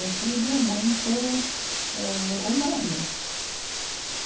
É tudo muito ãh humano.